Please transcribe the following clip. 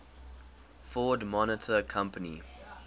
ford motor company